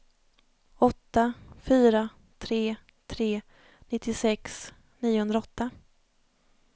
åtta fyra tre tre nittiosex niohundraåtta